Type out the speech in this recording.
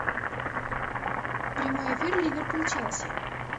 прямой эфир ливерпуль челси